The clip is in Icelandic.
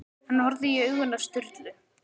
Hann horfði í augun á Sturlu.